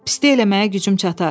Pislik eləməyə gücüm çatar.